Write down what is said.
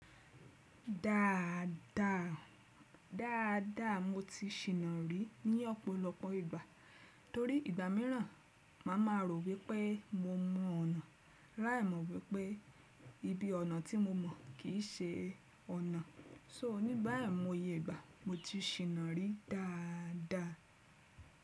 Dáadáa, mo ti ṣìnà rí ní ọ̀pọ̀lọpọ̀ ìgbà. Torí ìgbà míràn màá ma rò wípé mo mọ ọ̀nà láì mọ̀ wípé ibi ọ̀nà tí mo mọ̀ kìí ṣe ọ̀nà. Só ní igbá àìmọye ìgbà mo ti ṣìnà rí dáadáa.